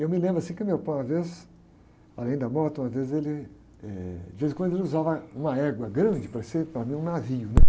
Eu me lembro assim que meu pai uma vez, além da moto, uma vez ele, eh, de vez em quando ele usava uma égua grande, parecia para mim um navio, né?